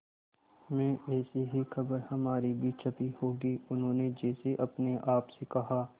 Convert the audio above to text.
में ऐसी ही खबर हमारी भी छपी होगी उन्होंने जैसे अपने आप से कहा